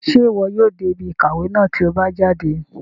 Ṣe iwọ yóò dé ibí ìkàwé náà ti o bá jáde?